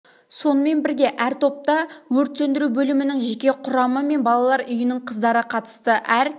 сонымен бірге әр топта өрт сөндіру бөлімінің жеке құрамы мен балалар үйінің қыздары қатысты әр